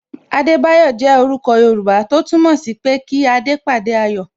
Adebayo jẹ orúkọ Yoruba tó túmọ̀ sí pé kí adé pàdé ayọ̀